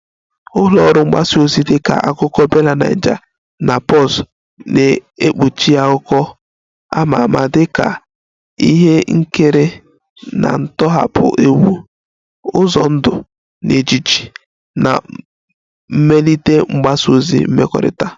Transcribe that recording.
Ụlọ ọrụ mgbasa ozi dịka Akụkọ BellaNaija na Pulse na-ekpuchi akụkọ ama ama dịka ihe nkiri na ntọhapụ egwu, ụzọ ndụ na ejiji na mmelite mgbasa ozi mmekọrịta